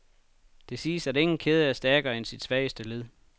Det siges, at ingen kæde er stærkere end sit svageste led.